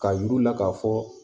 K'a yir'u la k'a fɔ